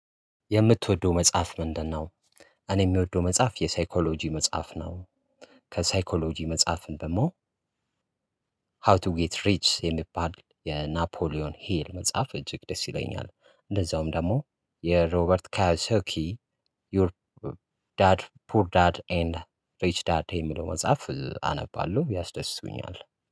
የምትወደው መጽሐፍ ምንድነው? እኔ የምወደው መጽሐፍ የሳይኮሎጂ መጽሐፍ ነው። ከሳይኮሎጂ መጽሐፍን ደግሞ ሃው ቱ ጌት ሪችስ የሚባል የናፖሊዮን ሂል መጽሐፍ እጅግ ደስ ይለኛል። እንደዛውም ደግሞ የሮበርት ካዮሶኪ ዩር ዳድ ፑር ዳድ ኤንድ ሪች ዳድ የሚለው መጽሐፍ አነባለው ያስደስቱኛል